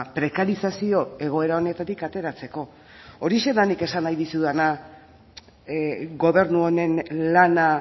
prekarizazio egoera honetatik ateratzeko horixe da nik esan nahi dizudana gobernu honen lana